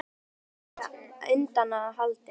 Það er hins vegar á miklu undanhaldi